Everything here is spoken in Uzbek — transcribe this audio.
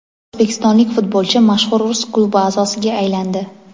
O‘zbekistonlik futbolchi mashhur rus klubi a’zosiga aylandi.